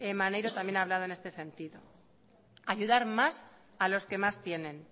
maneiro también ha hablado en este sentido ayudar más a los que más tienen